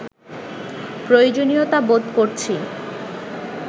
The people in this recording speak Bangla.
প্রয়োজনীয়তা বোধ করছি